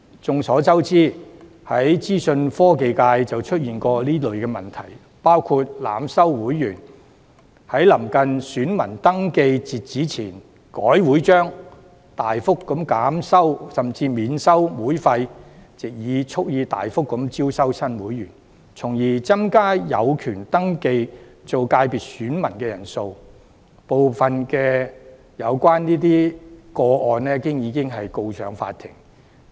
眾所周知，資訊科技界便曾經出現這類問題，包括濫收會員，在臨近選民登記截止日期前修改會章、大幅減收甚至免收會費，蓄意藉此招收大量新會員，從而增加有權登記為界別選民的人數，當中部分個案已經進入司法程序。